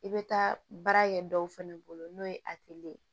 I bɛ taa baara kɛ dɔw fɛnɛ bolo n'o ye ye